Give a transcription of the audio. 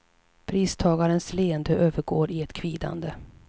Pristagarens leende övergår i ett kvidande.